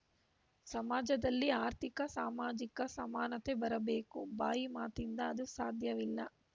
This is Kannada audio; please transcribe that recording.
ಸಮಾಜದಲ್ಲಿ ಆರ್ಥಿಕಸಾಮಾಜಿಕ ಸಮಾನತೆ ಬರಬೇಕು ಬಾಯಿ ಮಾತಿಂದ ಅದು ಸಾಧ್ಯವಾಗಲ್ಲ